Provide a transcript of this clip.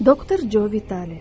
Doktor Joe Vitali.